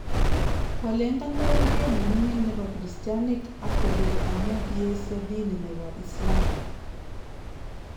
kolengan bororiet nemingin nebo kristianik ak kobir amu kiesio dini nebo Islam